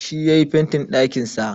Shi yayi fentin ɗakin sa